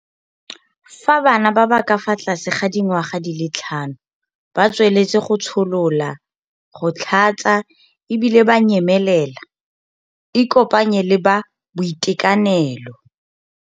Fa bana ba ba ka fa tlase ga dingwaga di le tlhano ba tsweletse go tsholola, go tlhatsa e bile ba nyemelela, ikopanye le ba boitekanelo.